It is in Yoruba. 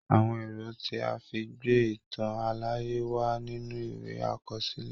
Àwọn èrò tí a fi ń gbé ìtàn àlàyé wà nínú ìwé àkọsílẹ̀